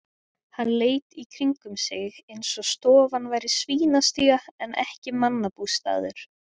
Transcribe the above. Hann leit í kringum sig eins og stofan væri svínastía en ekki mannabústaður.